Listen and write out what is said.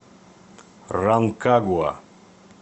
ранкагуа